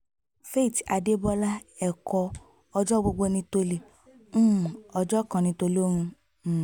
faith adébọlá ẹ̀kọ́ ọjọ́ gbogbo ní tọ̀lé um ọjọ́ kan ní tòlóhùn um